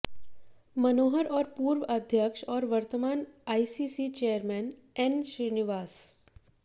मनोहर और पूर्व अध्यक्ष और वर्तमान आइसीसी चेयरमैन एन श्रीनिवासन